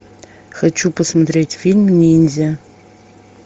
хочу посмотреть фильм ниндзя